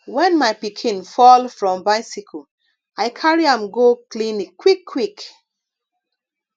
wen my pikin fall from bicycle i carry am go clinic quickquick